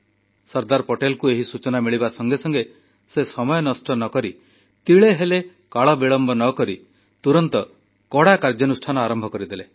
ସର୍ଦ୍ଦାର ପଟେଲଙ୍କୁ ଏହି ସୂଚନା ମିଳିବା ସଙ୍ଗେ ସଙ୍ଗେ ସେ ସମୟ ନଷ୍ଟ ନ କରି ତିଳେହେଲେ କାଳ ବିଳମ୍ବ ନ କରି ତୁରନ୍ତ କଡ଼ା କାର୍ଯ୍ୟାନୁଷ୍ଠାନ ଆରମ୍ଭ କରିଦେଲେ